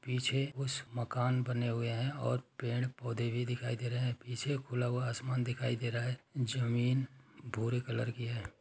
पीछे उस मकान बने हुए हैं और पेड़ पौधे भी दिखाई दे रहे हैं पीछे खुला हुआ आसमान दिखाई दे रहा है जमीन भूरे कलर की है।